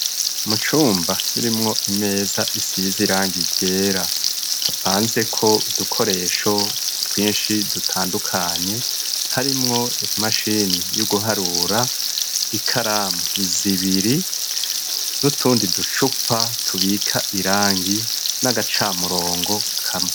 Mu cumba kirimwo imeza isize irangi iryera hapanze ko udukoresho twinshi dutandukanye harimwo imashini y'uguharura ikaramu zibiri nutundi ducupa tubika irangi n'agacamurongo kamwe.